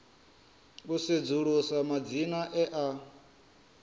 u sedzulusa madzina e a